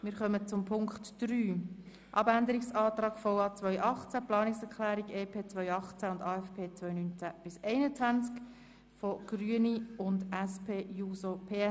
Wir kommen zu Ziffer 3, Abänderungsantrag 2018, Planungserklärung EP 2018, AFP 2019–2021 der Grünen sowie der SP-JUSO-PSA.